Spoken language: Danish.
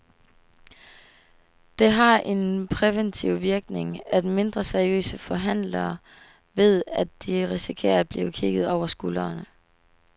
Det har en præventiv virkning, at mindre seriøse forhandlere ved, at de risikerer at blive kigget over skuldrene.